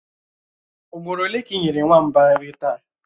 Ugboro ole ka ị nyere nwamba nri taa?